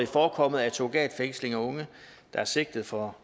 forekommet at surrogatfængsling af unge der er sigtet for